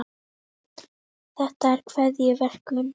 þetta er keðjuverkun